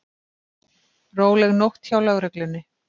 Róleg nótt hjá lögreglunni